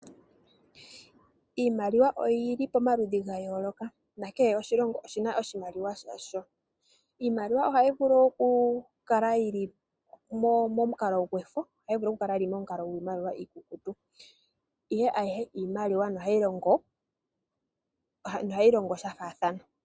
Iimaliwa oyi li pomaludhi ga yooloka nakehe oshilongo oshi na oshimaliwa shasho. Iimaliwa ohayi vulu oku kala yili momukalo gwefo nenge momukalo giimaliwa iikukutu. Ayihe iimaliwa nohayi longo shafaathana.